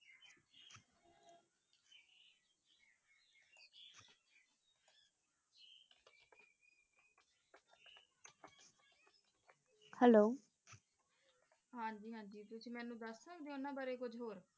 Hello ਹਾਂਜੀ ਹਾਂਜੀ ਤੁਸੀਂ ਮੇਨੂ ਦਸ ਸਕਦੀ ਊ ਓਨਾਂ ਬਾਰੇ ਕੁਜ ਹੋਰ